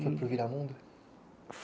Foi para o Viramundo?